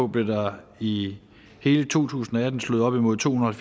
blev der i hele to tusind og atten slået op imod tohundrede og